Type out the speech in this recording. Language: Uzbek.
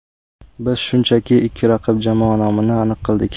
Biz shunchaki ikki raqib jamoa nomini aniq qildik.